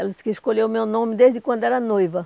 Ela disse que escolheu o meu nome desde quando era noiva.